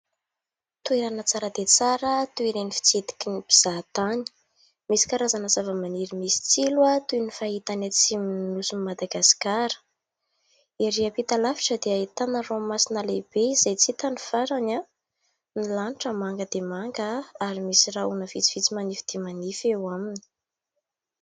Toerana tsara dia tsara toy ireny fitsidiky ny mpizaha tany. Misy karazana zavamaniry misy tsilo toy ny fahita any atsimon'ny nosin'i Madagasikara. Erỳ ampita lavitra dia ahitana ranomasina lehibe izay tsy hita ny farany. Ny lanitra manga dia manga ary misy rahona vitsivitsy manify dia manify eo aminy.